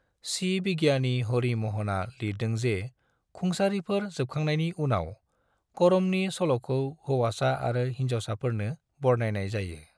सि बिगियानि हरि म'हनआ लिरदों जे खुंसारिफोर जोबखांनायनि उनाव, करमनि सल'खौ हौवासा आरो होनजावसाफोरनो बरनायनाय जायो।